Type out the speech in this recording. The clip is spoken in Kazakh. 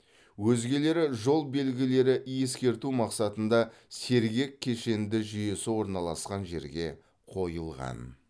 өзгелері жол белгілері ескерту мақсатында сергек кешенді жүйесі орналасқан жерге қойылған